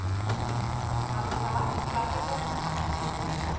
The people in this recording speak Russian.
образование чарли бэнкса запусти